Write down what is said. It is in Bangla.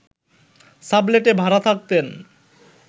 সাবলেটে ভাড়া থাকতেন